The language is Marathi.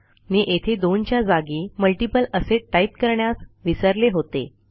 मी येथे दोनच्या जागी मल्टीपल असे टाईप करण्यास विसरले होते